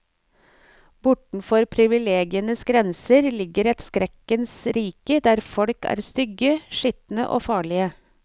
Bortenfor privilegienes grenser ligger et skrekkens rike der folk er stygge, skitne og farlige.